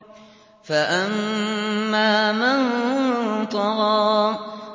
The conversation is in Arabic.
فَأَمَّا مَن طَغَىٰ